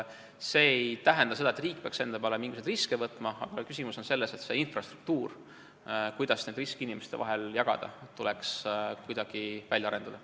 See ei tähenda seda, et riik peaks enda peale riske võtma, aga küsimus on selles, et see infrastruktuur, kuidas neid riske inimeste vahel jagada, tuleks kuidagi välja arendada.